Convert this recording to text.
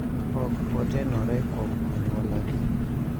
Ok otenore kuom anyuolagi.